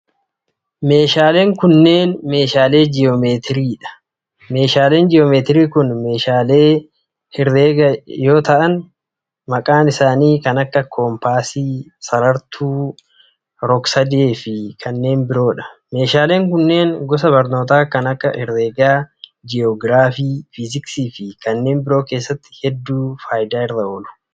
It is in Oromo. Meeshaaleen kunneen meeshaalee ji'oomeetieii dha. Meeshaaleen ji'oomeetirii kun, meeshaalee ji'oomeetirii herreegaa yoo ta'an, maqaan isaanii kan akka:koompaasii, sarartuu, rog sadee fi kanneen biroo dha. Meeshaaleen kunneen, gosa barnootaa kan akka:herreega, ji'oograafii, fiiziksii fi kanneen biroo keessatti hedduu faayidaa irra oolu.